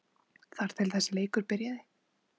Þar til þessi leikur byrjaði.